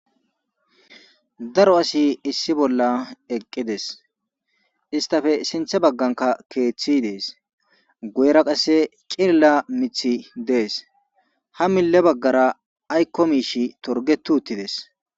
daro asi issi bolla eqqides istafe sinthe bagganka keeththi dees guera qasse qilila mithi dees ha mille baggara aykko miish torgetu uttides